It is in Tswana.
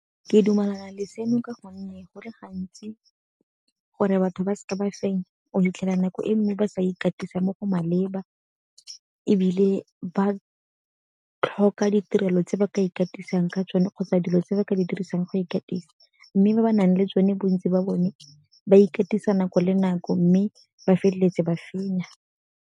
Ke dumelana le seno ka gonne go le gantsi gore batho ba seke ba fenya o fitlhela nako e mme ba sa ikatisa mo go maleba ebile ba tlhoka ditirelo tse ba ka ikatisang ka tsone kgotsa dilo tse ba ka di dirisang go ikatisa. Mme ba ba nang le tsone bontsi ba bone ba ikatisa nako le nako mme ba feleletsa ba fenya.